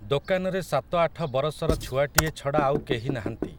ଦୋକାନରେ ସାତ ଆଠ ବରଷର ଛୁଆଟିଏ ଛଡ଼ା ଆଉ କେହି ନାହାଁନ୍ତି ।